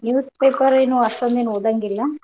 Speaker 2: Newspaper ಏನ್ ಅಷ್ಟೊಂದೇನ್ ಒದಂಗಿಲ್ಲಾ.